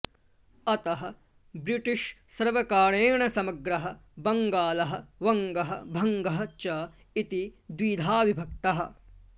अतः ब्रिटिष् सर्वकरेण समग्रः बङ्गालः वङ्गः भङ्गः च इति द्विधा विभक्तः